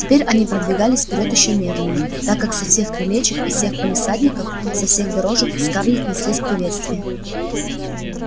теперь они продвигались вперёд ещё медленнее так как со всех крылечек из всех палисадников со всех дорожек к скарлетт неслись приветствия